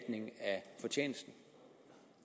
fortjenesten